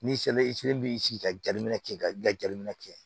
N'i sera i fɛnɛ b'i sigi ka jaabi minɛ kɛ ka i ka jabi minɛ kɛ